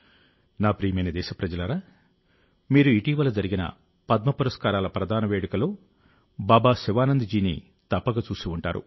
నా ప్రియమైన దేశప్రజలారా మీరు ఇటీవల జరిగిన పద్మపురస్కారాల ప్రదాన వేడుకలో బాబా శివానంద్ జీని తప్పక చూసి ఉంటారు